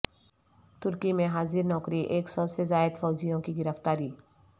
ترکی میں حاضر نوکری ایک سو سے زائد فوجیوں کی گرفتاری